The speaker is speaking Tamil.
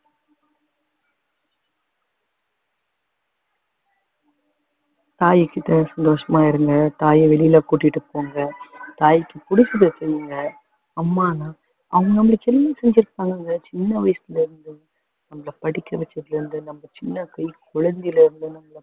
தாய்கிட்ட சந்தோஷமா இருங்க தாய வெளில கூட்டிட்டு போங்க தாயிக்கு பிடிச்சத செய்யுங்க அம்மானு அவங்க நம்மளுக்கு எல்லாம் செஞ்சிருப்பாங்கங்க சின்ன வயசுலருந்து நம்மள படிக்க வச்சதுலருந்து நம்ம சின்ன கை குழந்தைலருந்து